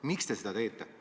Miks te seda teete?